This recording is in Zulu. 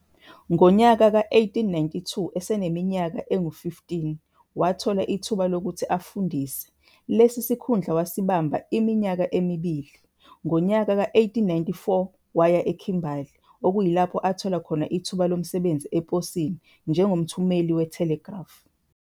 Ngonyaka we-1892 eseneminyaka engama-15 wathola ithuba lokuthi afundise, lesi sikhundla wasibamba iminyaka emibili. Ngonyaka we-1894 waya eKhimbali, okulapho athola khona ithuba lomsebenzi eposini njengomthumeli we-"telegraph".